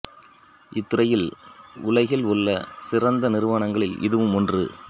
இத் துறையில் உலகில் உள்ள சிறந்த நிறுவனங்களில் இதுவும் ஒன்று